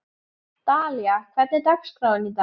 Dalía, hvernig er dagskráin í dag?